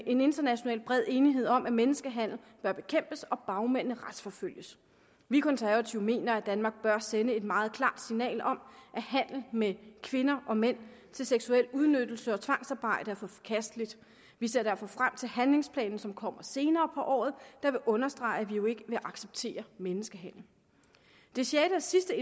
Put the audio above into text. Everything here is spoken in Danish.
en international bred enighed om at menneskehandel bør bekæmpes og bagmændene retsforfølges vi konservative mener at danmark bør sende et meget klart signal om at handel med kvinder og mænd til seksuel udnyttelse og tvangsarbejde er forkasteligt vi ser derfor frem til den handlingsplan som kommer senere på året der vil understrege at vi jo ikke vil acceptere menneskehandel det sjette og sidste